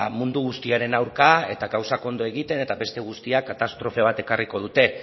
mundu guztiaren aurka eta gauzak ondo egiten eta beste guztiak katastrofe bat ekarriko dute